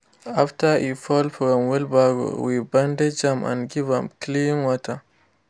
after e fall from wheelbarrow we bandage am and give am clean water.